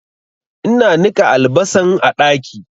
Ina niƙa albasan a ɗaki